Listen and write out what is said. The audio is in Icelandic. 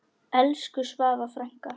Elsku Svava frænka.